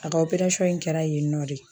A ka in kɛra yen nɔ de.